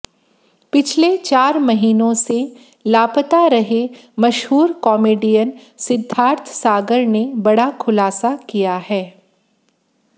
पिछले चार महीनों से लापता रहे मशहूर कॉमेडियन सिद्धार्थ सागर ने बड़ा खुलासा किया है